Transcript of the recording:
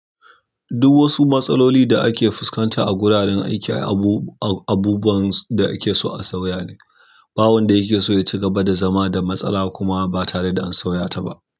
Duk wasu matsaloli da ake fuskanta a wuraren aiki abubuwan da ake so a sauya ne. Ba wanda yake so ya ci gaba da zama da matsala kuma ba tare da an sauya ta ba.